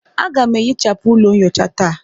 Aga m ehichapụ ụlọ nyocha taa.